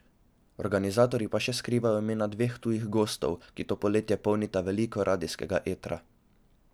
S, organizatorji pa še skrivajo imena dveh tujih gostov, ki to poletje polnita veliko radijskega etra.